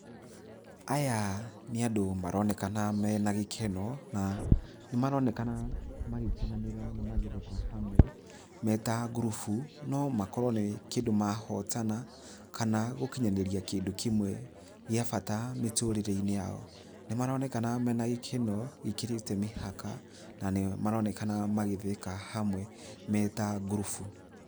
Aya nĩ andũ maronekana mena gĩkeno, na nĩ maronekana magĩkenanĩra na magĩtheka hamwe me ta ngurubu, no makorwo nĩ kĩndũ mahotana, kana gũkinyanĩria kĩndũ kĩmwe gĩa bata mĩtũrĩre-inĩ yao. Nĩ maronekana mena gĩkeno gĩkĩrĩte mĩhaka na nĩ maronekana magĩtheka hamwe me ta ngurubu.